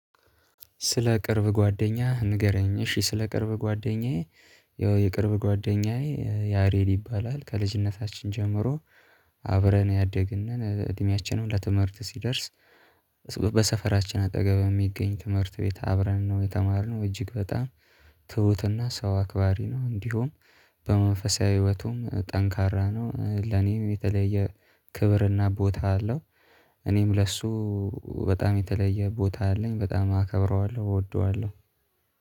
ስለ ቅርብ ጓደኛህ ንገረኝ? እሺ ስለ ቅርብ ጓደኛዬ ያው የቅርብ ጓደኛዬ ያሬድ ይባላል ከልጅነታችን ጀምሮ። አብረን ያደግን እድሜያችንም ለትምህርት ሲደርስ። በሰፈራችን አጠገብ የሚገኝ ትምህርት ቤት አብረን ነው የተማርነው እጅግ በጣም። ትሁትና ሰው አክባሪ ነው እንዲሁም በመንፈሳዊ ህይወቱም ጠንካራ ነው። ለኔም የተለየ ክብርና ቦታ አለው። እኔም ለሱ በጣም የተለየ ቦታ አለኝ በጣም አከብረዋለሁ እወደዋለሁ።